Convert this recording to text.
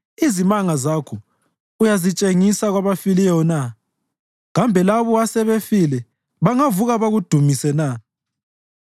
Izimanga zakho uyazitshengisa kwabafileyo na? Kambe labo asebefile bangavuka bakudumise na?